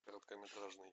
короткометражный